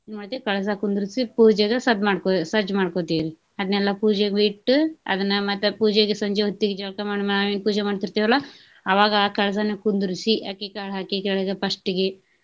ಮತ್ತೆ ಕಳಸ ಕುಂದರ್ಸಿ ಪೂಜೆಗೆ ಸದ್ದ್~ ಮಾಡ್ಕೊ ಸಜ್ಜ ಮಾಡ್ಕೊತೆವ್ರಿ. ಅದ್ನೇಲ್ಲಾ ಪೂಜೆಗೆ ಇಟ್ಟು ಅದನ್ನ ಮತ್ತ ಪೂಜೆಗೆ ಸಂಜೆ ಹೊತ್ತಿಗೆ ಜಳಕ ಮಾಡಿ ನಾವೇನ ಪೂಜೆ ಮಾಡ್ತಿರ್ತೆವಲ್ಲಾ ಅವಾಗ ಆ ಕಳಸನ ಕುಂದರ್ಸಿ ಅಕ್ಕಿಕಾಳ ಹಾಕಿ ಕೆಳಗೆ first ಗೆ.